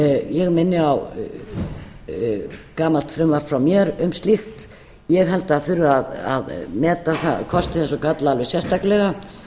ég minni á gamalt frumvarp frá mér um slíkt ég held að það þurfi að meta kosti þess og galla alveg sérstaklega